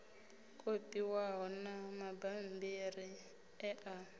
kopiwaho na mabammbiri e a